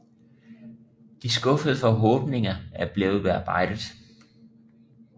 De skuffede forhåbninger er blevet bearbejdet